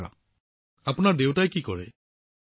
প্ৰধানমন্ত্ৰীঃ আৰু আপোনাৰ দেউতাক আৰু আনসকলে পৰিয়ালত কি কৰে